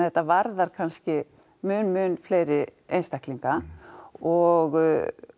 þetta varðar kannski mun mun fleiri einstaklinga og